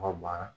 Ka ban